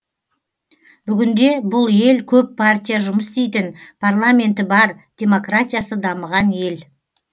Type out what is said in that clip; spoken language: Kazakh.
бүгінде бұл ел көп партия жұмыс істейтін парламенті бар демократиясы дамыған ел